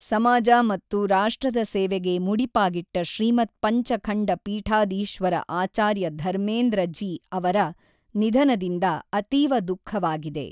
ಸಮಾಜ ಮತ್ತು ರಾಷ್ಟ್ರದ ಸೇವೆಗೆ ಮುಡಿಪಾಗಿಟ್ಟ ಶ್ರೀಮದ್ ಪಂಚಖಂಡ ಪೀಠಾಧೀಶ್ವರ ಆಚಾರ್ಯ ಧರ್ಮೇಂದ್ರ ಜೀ ಅವರ ನಿಧನದಿಂದ ಅತೀವ ದುಃಖವಾಗಿದೆ.